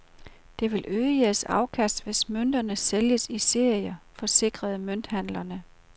Det vil øge jeres afkast, hvis mønterne sælges i serier, forsikrede mønthandlerne.